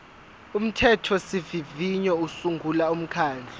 umthethosivivinyo usungula umkhandlu